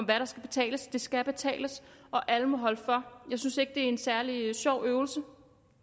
der skal betales det skal betales og alle må holde for jeg synes ikke det er en særlig sjov øvelse